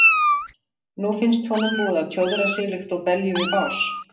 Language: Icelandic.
Nú finnst honum búið að tjóðra sig líkt og belju við bás.